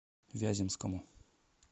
вяземскому